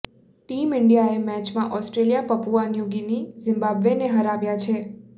team ઈન્ડિયાએ મેચમાં Australia Papua New Guinea ઝિમ્બાબ્વેને હરાવ્યા છે